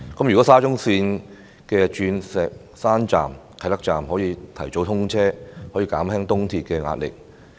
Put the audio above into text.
如果沙中線的鑽石山站、啟德站提早通車，將可以減輕東鐵線的壓力。